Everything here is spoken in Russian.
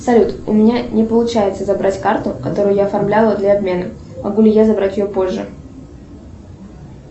салют у меня не получается забрать карту которую я оформляла для обмена могу ли я забрать ее позже